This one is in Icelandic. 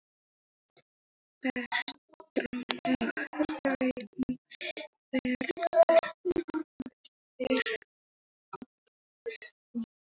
Petronella, hvernig verður veðrið á morgun?